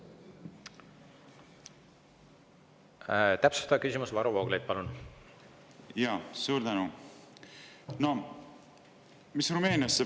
Täpsustav küsimus, Varro Vooglaid, palun!